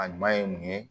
A ɲuman ye mun ye